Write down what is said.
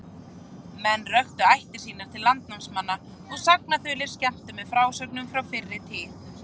Menn röktu ættir sínar til landnámsmanna, og sagnaþulir skemmtu með frásögnum frá fyrri tíð.